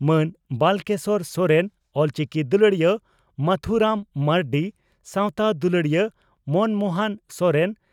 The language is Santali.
ᱢᱟᱱ ᱵᱟᱞᱠᱮᱥᱚᱨ ᱥᱚᱨᱮᱱ ᱚᱞᱪᱤᱠᱤ ᱫᱩᱞᱟᱹᱲᱤᱭᱟᱹ ᱢᱟᱹᱛᱷᱩ ᱨᱟᱢ ᱢᱟᱹᱨᱰᱤ ᱥᱟᱣᱛᱟ ᱫᱩᱞᱟᱹᱲᱤᱭᱟᱹ ᱢᱚᱱᱢᱚᱦᱚᱱ ᱥᱚᱨᱮᱱ